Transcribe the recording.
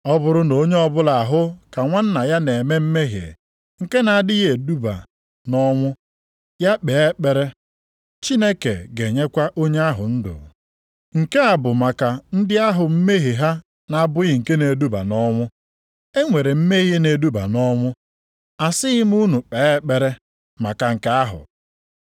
Ọ bụrụ na onye ọbụla ahụ ka nwanna ya na-eme mmehie nke na-adịghị eduba nʼọnwụ, ya kpee ekpere, Chineke ga-enyekwa onye ahụ ndụ. Nke a bụ maka ndị ahụ mmehie ha na-abụghị nke na-eduba nʼọnwụ. E nwere mmehie na-eduba nʼọnwụ. Asịghị m unu kpee ekpere maka nke ahụ.